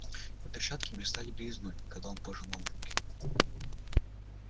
его перчатки блистали белизной когда он пожимал руки